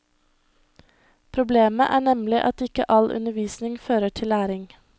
Problemet er nemlig at ikke all undervisning fører til læring.